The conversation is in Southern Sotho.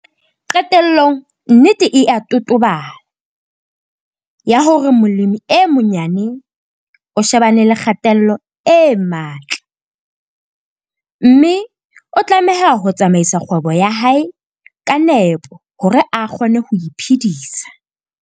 Qetellong nnete e a totobala, ya hore molemi e monyane o shebane le kgatello e matla, mme o tlameha ho tsamaisa kgwebo ya hae ka nepo hore a kgone ho iphedisa.